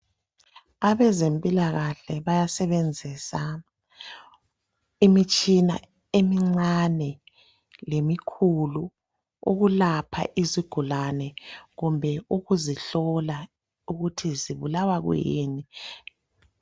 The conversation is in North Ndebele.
Abezempilakahle bayasebenzisa imitshina emincane lemikhulu ukulapha izigulane kumbe ukuzihlola ukuthi ezibulawa kuyini